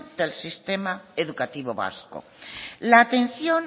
del sistema educativo vasco la atención